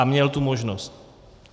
A měl tu možnost.